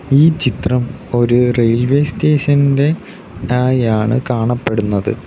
ഈ ചിത്രം ഒരു റെയിൽവേ സ്റ്റേഷൻ ഇന്റെ തായാണ് കാണപെടുന്നത്.